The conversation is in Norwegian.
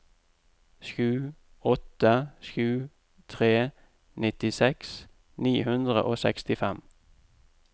sju åtte sju tre nittiseks ni hundre og sekstifem